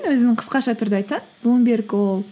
өзінің қысқаша түрде айтсаң блумберг ол